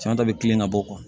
San ta bɛ tilen ka bɔ